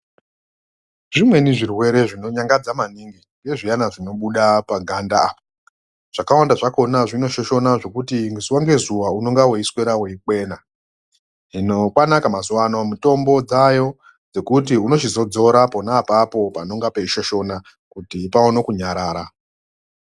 Zvimweni zvirwere zvinonyangadza maningi, ngezviana zvinobuda paganda apa. Zvakawanda zvakona zvinoshoshona zvekuti zuva ngezuwa unongga weiswera weikwena. Hino kwanaka mazuwano mitombo dzaayo dzekuti unochizodzora pona apa panenga peishoshota kuti paone kunyarara.